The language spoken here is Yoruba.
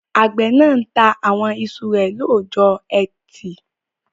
Àgbẹ̀ náà ta àwọn iṣu rẹ̀ lọ́jọ́ ẹtì